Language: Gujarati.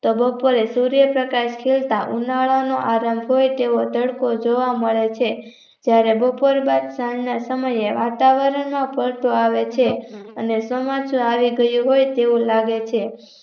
તો બોપરે સૂર્ય પ્રકાશ ખીલતા ઉનાળા નો આધાર હોય તેવો તડકો જોવા મળે છે. જયારે બોપર બાદ સાંજના સમયે વાતાવરણ માં પલટો આવે છે અને ચોમાસુ આવી ગયું હોય એવું લાગે છે.